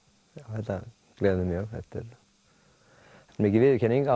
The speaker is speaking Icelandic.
þetta gleður mjög þetta er mikil viðurkenning